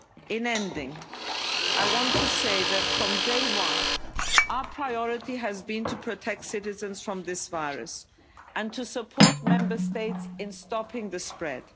In ending, I want to say that from day one, our priority has been to protect citizens from this virus and to support Member States in stopping the